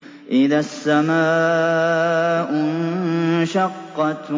إِذَا السَّمَاءُ انشَقَّتْ